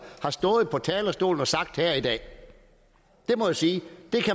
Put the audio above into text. har stået på talerstolen og sagt her i dag det må jeg sige